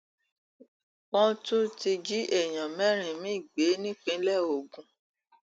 wọn tún ti jí èèyàn mẹrin miín gbé nípínlẹ ogun